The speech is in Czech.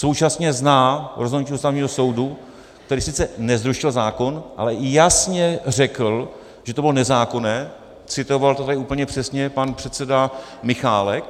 Současně zná rozhodnutí Ústavního soudu, který sice nezrušil zákon, ale jasně řekl, že to bylo nezákonné, citoval to tady úplně přesně pan předseda Michálek.